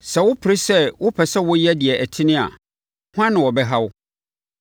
Sɛ wopere sɛ wopɛ sɛ woyɛ deɛ ɛtene a, hwan na ɔbɛha wo?